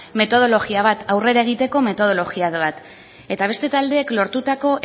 metodologia bat aurrera egiteko metodologia bat eta beste taldeek lortutako